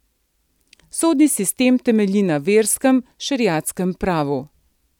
Sodni sistem temelji na verskem, šeriatskem pravu.